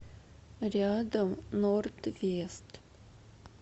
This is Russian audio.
рядом норд вест